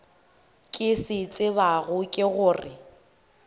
ke se tsebago ke gore